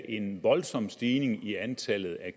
en voldsom stigning i antallet af